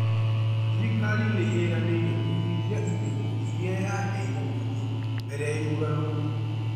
Thirikari nĩĩranĩire kũhingia irĩko iria yaheire mũingĩ mbele ya ithurano